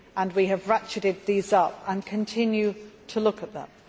We have ratcheted these up and continue to look at them.